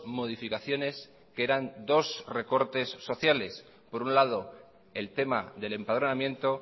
modificaciones que eran dos recortes sociales por un lado el tema del empadronamiento